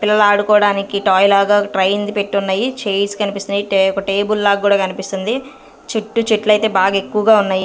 పిల్లలు ఆడుకోవడానికి టాయ్ లాగ ట్రయింది పెట్టి ఉన్నాయి చేర్స్ కనిపిస్తున్నాయి టే ఒక టేబుల్ లాగా కూడా కనిపిస్తుంది చుట్టూ చెట్లు అయితే బాగా ఎక్కువగా ఉన్నాయి.